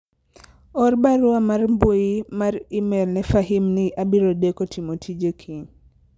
or barua mar mbui mar email ne Fahim ni abiro deko timo tije kiny